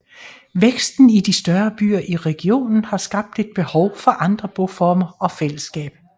Væksten i de større byer i regionen har skabt et behov for andre boformer og fællesskab